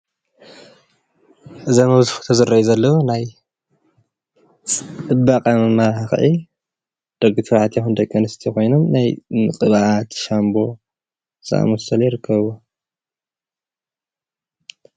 እዞም ኣብዚ ፎቶ ዝረአዩ ዘለው ናይ ፅባቐ መማላኽዒ ደቂ ተባዕትዮ ይኹን ደቂ ኣንስትዮ ኮይኑ ናይ ምቅባእ ሻምቦ ዝኣመሰሉ ይርከብዎ።